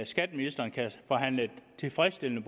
skatteministeren kan forhandle et tilfredsstillende